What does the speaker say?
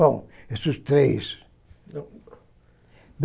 Bom, esses três.